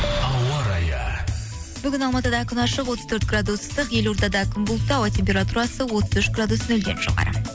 ауа райы бүгін алматыда күн ашық отыз төрт градус ыстық елордада күн бұлтты ауа температурасы отыз үш градус нөлден жоғары